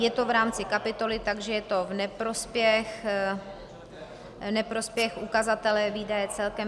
Je to v rámci kapitoly, takže je to v neprospěch ukazatele výdaje celkem.